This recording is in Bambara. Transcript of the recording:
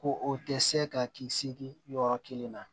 Ko o tɛ se ka kisi yɔrɔ kelen na